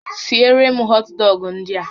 Siere m họt dọgụ ndị a!